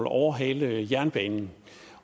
overhale jernbanen